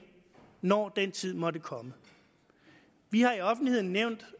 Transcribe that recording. når den tid måtte komme vi har i offentligheden nævnt